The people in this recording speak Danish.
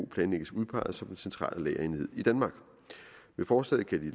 planlægges udpeget som den centrale lagerenhed i danmark med forslaget kan de